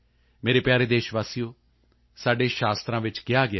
ਮੇਰੇ ਪਿਆਰੇ ਦੇਸ਼ਵਾਸੀਓ ਸਾਡੇ ਸ਼ਾਸਤਰਾਂ ਵਿੱਚ ਕਿਹਾ ਗਿਆ ਹੈ ਕਿ